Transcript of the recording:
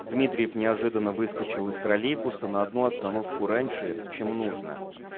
дмитриев неожиданно выскочил из троллейбуса на одну остановку раньше чем нужно